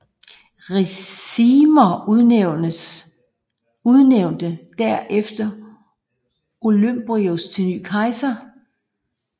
Ricimer udnævnte der efter Olybrius til ny kejser